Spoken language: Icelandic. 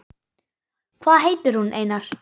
Hvað heitir hún, Einar?